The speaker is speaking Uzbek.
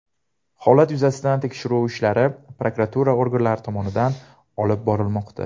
Holat yuzasidan tekshiruv ishlari prokuratura organlari tomonidan olib borilmoqda.